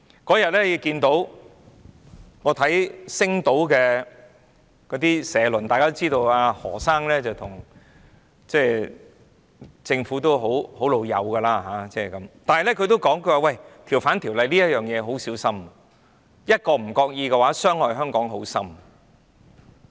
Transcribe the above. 我有天看到《星島日報》的社論，大家知道何先生與政府關係友好，但是他也指出，政府要很小心處理《逃犯條例》，稍有不為意便會深深傷害香港。